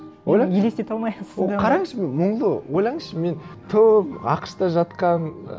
ойлаңызшы мен елестете алмаймын ол қараңызшы мен мұнлы ойлаңызшы мен ақш та жатқан